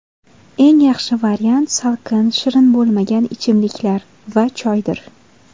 Eng yaxshi variant salqin shirin bo‘lmagan ichimliklar va choydir.